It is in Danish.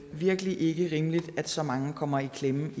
virkelig ikke er rimeligt at så mange kommer i klemme